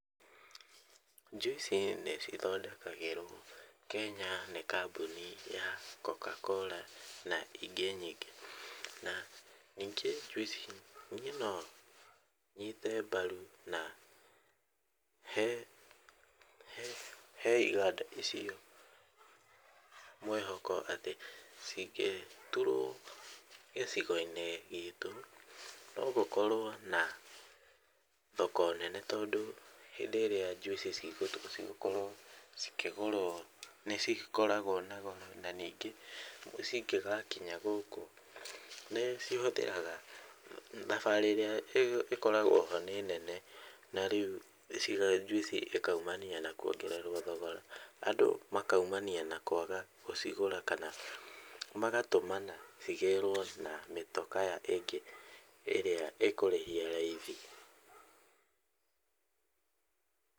Njuici nĩ cithondekagĩrwo Kenya nĩ kambũni ya CocaCola na ingĩ nyingĩ, na ningĩ njuici, niĩ no nyite mbaru, na he ha iganda icio mwĩhoko atĩ cingĩturwo gĩcigo-inĩ gitũ, no gũkorwo na thoko nene, tondũ hĩndĩ ĩrĩa njuici cigũkorwo cikĩgũrwo, nĩ cikoragwo na goro na ningĩ cingĩgakinya gũkũ nĩ cihũthĩraga , thabarĩ ĩrĩa ĩkoragwo ho nĩ nene, na rĩu njuici ĩkaumania kwongererwo thogora, andũ makaumania na kwaga gũcigũra kana magatũmana ĩgĩrwo na mĩtokaa ĩngĩ ĩrĩa ĩkũrĩhĩa raithi .